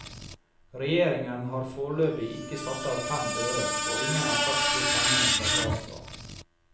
Regjeringen har foreløpig ikke satt av fem øre, og ingen har sagt hvor pengene skal tas fra.